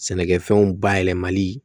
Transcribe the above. Sɛnɛkɛfɛnw bayɛlɛmali